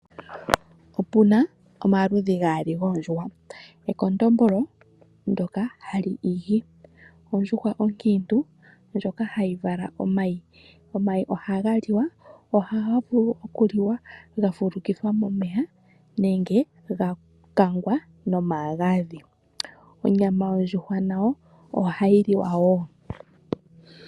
Opuna omaludhi gaali goondjuhwa, ekondombolo ndoka hali igi , ondjuhwa onkiintu ndjoka hayi vala omayi. Omayi ohaga liwa, ohaga vulu okuliwa gafulukithwa momeya nenge gakangwa nomagadhi, onyama yondjuhwa nayo ohayi liwa woo